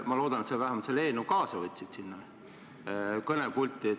Ma loodan, et sa vähemalt võtsid selle eelnõu sinna kõnepulti kaasa.